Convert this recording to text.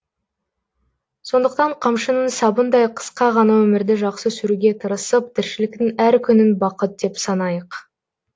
сондықтан қамшының сабындай қысқа ғана өмірді жақсы сүруге тырысып тіршіліктің әр күнін бақыт деп санайық